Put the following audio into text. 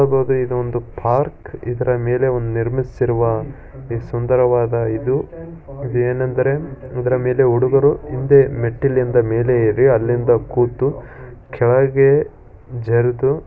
ಇದು ಒಂದು ಪಾರ್ಕ್ ಇದರ ಮೇಲೆ ಒಂದ್ ನಿರ್ಮಿಸಿರುವ ಈ ಸುಂದರವಾದ ಇದು ಇದು ಏನೆಂದರೆ ಇದರ ಮೇಲೆ ಹುಡುಗರು ಹಿಂದೆ ಮೆಟ್ಟಿಲಿಂದ ಮೇಲೆ ಏರಿ ಅಲ್ಲಿಂದ ಕೂತು ಕೆಳಗೆ ಜರ್ದು.